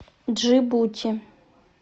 джибути